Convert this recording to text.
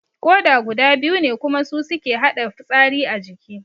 Koda guda biyu ne kuma su suke haɗa fitsari a jiki